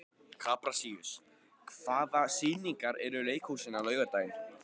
Kaprasíus, hvaða sýningar eru í leikhúsinu á laugardaginn?